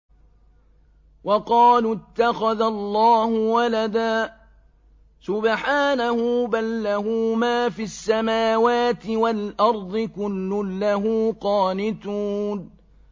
وَقَالُوا اتَّخَذَ اللَّهُ وَلَدًا ۗ سُبْحَانَهُ ۖ بَل لَّهُ مَا فِي السَّمَاوَاتِ وَالْأَرْضِ ۖ كُلٌّ لَّهُ قَانِتُونَ